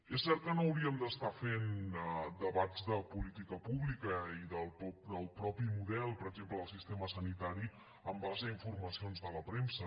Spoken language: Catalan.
és cert que no hauríem de fer debats de política pública i del mateix model per exemple del sistema sanitari en base a informacions de la premsa